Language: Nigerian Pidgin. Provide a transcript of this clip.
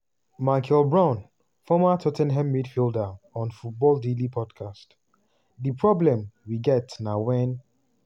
michael brown former tot ten ham midfielder on football daily podcast: di problem we get na wen